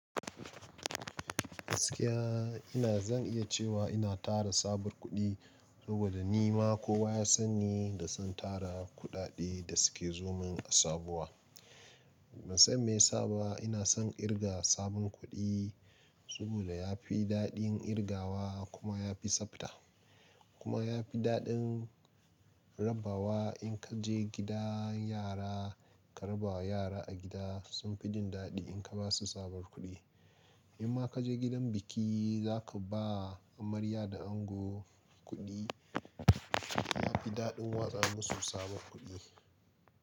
Gaskiya ina zan iya cewa ina tara sabuwar kuɗi saboda ni ma kowa ya san ni da son tara kuɗaɗe da suke zomin a sabuwa. Ban san me ya sa ba ina son kirga sabon kuɗi saboda ya fi daɗin kirgawa kuma ya fi tsabta kuma ya fi daɗin raba wa in ka je gida yara ka raba wa yara a gida sun fi jin daɗi in ka ba su sabuwar kuɗi. In ma ka je gidan biki za ka ba amarya da ango kuɗi ya fi daɗin watsa musu sabon kuɗi.